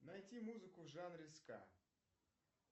найти музыку в жанре ска